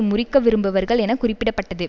முறிக்க விரும்புவர்கள் என குறிப்பிட பட்டது